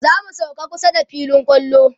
zamu sauka kusa da filin kwallo